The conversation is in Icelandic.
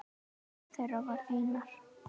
Einn þeirra var Einar